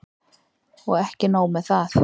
Og ekki er nóg með það.